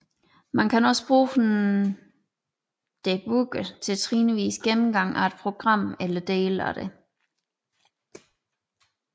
Man kan også bruge en debugger til trinvis gennemgang af et program eller dele af det